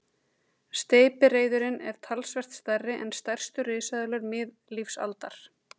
Steypireyðurin er talsvert stærri en stærstu risaeðlur miðlífsaldar.